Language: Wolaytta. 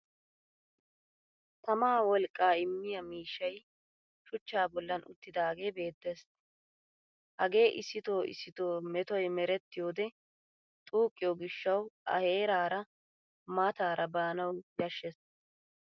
Tamaa wolqqaa immiya miishshay shuchchaa bollan uttidaagee beettes. Hagee issitoo issitoo metoy merettiyode xuqqiyo gishshawu a heeraara mataara baanawu yashshes